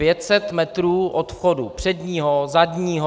500 metrů od vchodu předního, zadního.